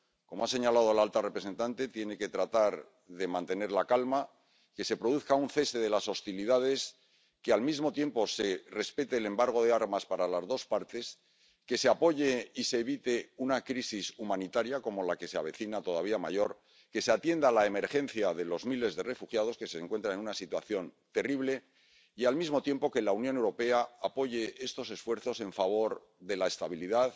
Como ha señalado la alta representante, tiene que tratar de mantener la calma, que se produzca un cese de las hostilidades, que al mismo tiempo se respete el embargo de armas para las dos partes, que se apoye y se evite una crisis humanitaria como la que se avecina ⸻todavía mayor⸻, que se atienda la emergencia de los miles de refugiados, que se encuentran en una situación terrible, y al mismo tiempo, que la Unión Europea apoye estos esfuerzos en favor de la estabilidad,